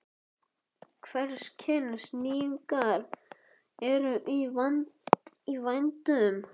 Hvers kyns nýjungar voru í vændum.